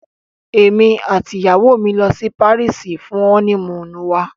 Emi ati iyawo mi yoo lọ si Paris fun ọni-muunu wa